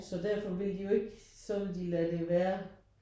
Så derfor vil de jo ikke så ville de lade det være